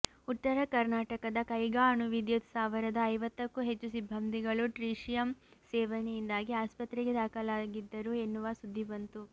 ಉತ್ತರ ಕರ್ನಾಟಕದ ಕೈಗಾ ಅಣುವಿದ್ಯುತ್ ಸ್ಥಾವರದ ಐವತ್ತಕ್ಕೂ ಹೆಚ್ಚು ಸಿಬ್ಬಂದಿಗಳು ಟ್ರೀಶಿಯಂ ಸೇವನೆಯಿಂದಾಗಿ ಆಸ್ಪತ್ರೆಗೆ ದಾಖಲಾಗಿದ್ದರು ಎನ್ನುವ ಸುದ್ದಿ ಬಂತು